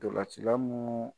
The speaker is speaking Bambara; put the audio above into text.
Dɔlacila mun